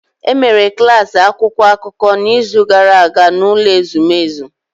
E mere klas akwụkwọ akụkọ n’izu gara aga n’ụlọ ezumezu